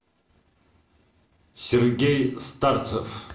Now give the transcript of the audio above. сергей старцев